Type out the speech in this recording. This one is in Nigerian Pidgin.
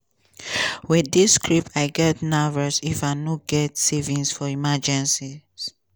wit dis script i get nervous if i no get savings for emergencies.